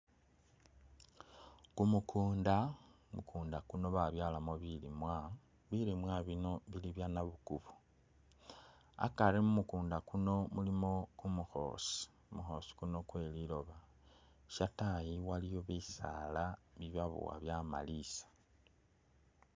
Kumukunda, kumukunda kuno babyalamo bilimwa , bilimwa bino bili bya’nabukubo akari mu’mukumukunda kuno mulimo kumukhosi kweliloba, shatayi iliyo bisala Ibya’bowa byamalisa.